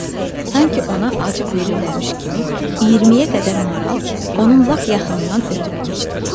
Sanki ona acıq verirlərmiş kimi 20-yə qədər maral onun lap yaxınından ötüb keçdi.